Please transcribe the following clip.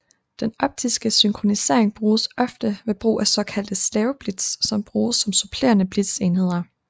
Den optiske synkronisering bruges ofte ved brug af såkaldte slaveblitz som bruges som supplerende blitzenheder